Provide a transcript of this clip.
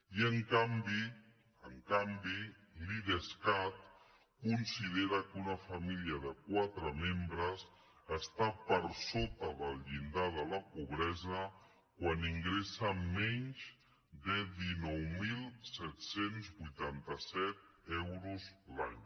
i en canvi en canvi l’idescat considera que una família de quatre membres està per sota del llindar de la pobresa quan ingressa menys de dinou mil set cents i vuitanta set euros l’any